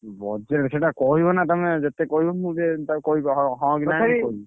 Budget ସେଇଟା କହିବନା ତମେ ଯେତେ କହିବ ମୁଁ ଯେ ତାକୁ କହିବି ହଁ ହଁ କି ନା ।